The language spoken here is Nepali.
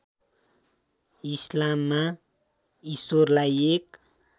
इस्लाममा ईश्वरलाई एक